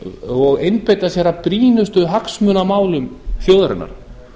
og einbeita sér að brýnustu hagsmunamálum þjóðarinnar